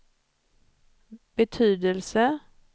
betydelse